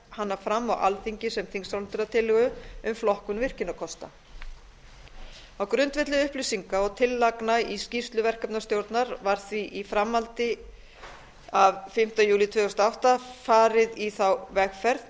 hana fram á alþingi sem þingsályktunartillögu um flokkum virkjunarkosta á grundvelli upplýsinga og tillagna í skýrslu verkefnastjórnar var því í framhaldi af fimmti júlí tvö þúsund og átta farið í þá vegferð